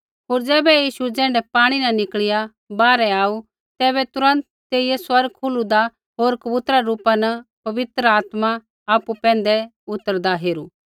होर ज़ैबै यीशु ज़ैण्ढै पाणी न निकल़िया बाहरै आऊ तैबै तुरन्त तेइयै स्वर्ग खुलदा होर कबूतरा रै रूपा न पवित्र आत्मा आपु पैंधै उतरदा हेरू